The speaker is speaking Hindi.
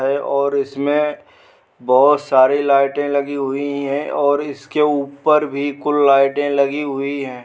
हैं और इसमे बोहोत सारी लाइटे लगी हुई हैं और इसके ऊपर भी कुल लाइटे लगी हुई हैं।